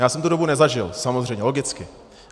Já jsem tu dobu nezažil samozřejmě, logicky.